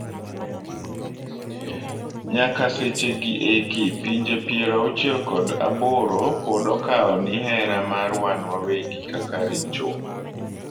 Nyaka seche gi eki ,pinje piero auchiel kod aboro pod okawo ni hera mar wan wawegi kaka richo.